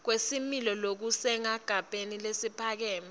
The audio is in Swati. kwesimilo lokusesigabeni lesiphakeme